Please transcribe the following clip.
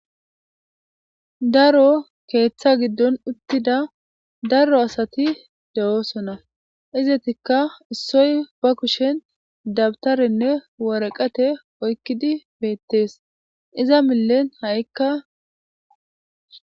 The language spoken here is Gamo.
Daro keeththa giddon uttida daro asati de'oosona izetikka issoy ba kushen dabtarenne woraqate oykkidi beettees iza millen ha7ikka